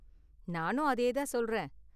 நானும் அதையே தான் சொல்றேன்.